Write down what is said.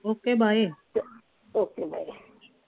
okay bye ਚ okay bye